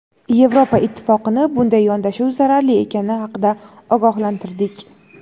Yevropa Ittifoqini bunday yondashuv zararli ekani haqida ogohlantirdik.